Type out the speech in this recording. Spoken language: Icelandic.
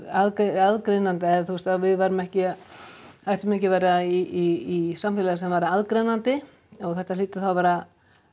aðgreinandi eða þú veist að við ættum ekki ættum ekki að vera í samfélagi sem væri aðgreinandi og þetta hlyti þá að vera